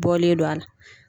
Bɔlen do a la.